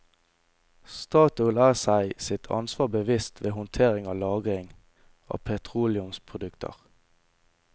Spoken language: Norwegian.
Statoil er seg sitt ansvar bevisst ved håndtering og lagring av petroleumsprodukter.